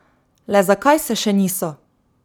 Le zakaj se še niso?